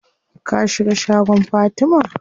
Ka shiga shagon Fatima?